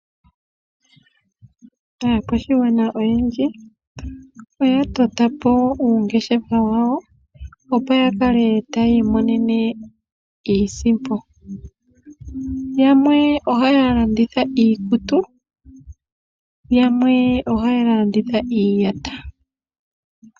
Aakwashigwana oyendji oya tota po uungeshefa wawo, opo ya kale taya imonene iisimpo. Yamwe ohaya landitha iikutu, yamwe ohaya landitha iiyata.